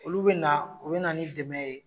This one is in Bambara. Olu bɛna u bɛna ni dɛmɛ ye